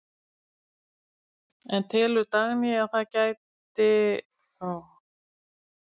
En telur Dagný að það bæti sig sem leikmann?